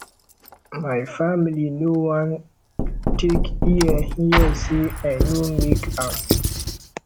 my family no wan take ear hear sey i no make am